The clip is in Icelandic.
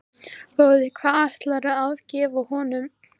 Boði: Hvað ætlarðu að gefa honum?